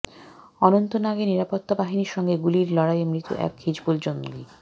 অনন্তনাগে নিরাপত্তা বাহিনীর সঙ্গে গুলির লড়াইয়ে মৃত এক হিজবুল জঙ্গি